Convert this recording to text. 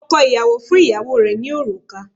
Ọkọ̀ ìyàwó fún ìyàwó rẹ̀ ní òrùka